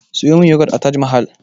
Siyo min yagwat a taj mahal